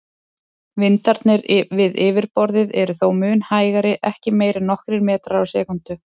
Vindarnir við yfirborðið eru þó mun hægari, ekki meira en nokkrir metrar á sekúndu.